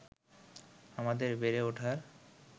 আমাদের বেড়ে ওঠার